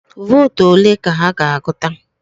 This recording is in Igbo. Vootu ole ka ha ga-agụta?